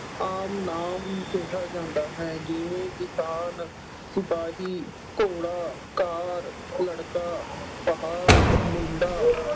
ਆਮ ਨਾਂਵ ਕਿਹਾ ਜਾਂਦਾ ਹੈ। ਜਿਵੇਂ ਕਿਸਾਨ, ਸਿਪਾਹੀ, ਘੋੜਾ car ਲੜਕਾ, ਪਹਾੜ, ਮੁੰਡਾ।